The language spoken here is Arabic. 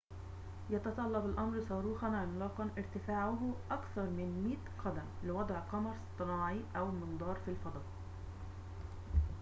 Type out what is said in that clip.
يتطلب الأمر صاروخاً عملاقاً ارتفاعه أكثر من 100 قدم لوضع قمر اصطناعي أو منظار في الفضاء